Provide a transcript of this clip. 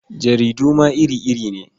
Jaridu ma iri-iri ne.